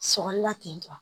Sɔkɔli la ten tɔ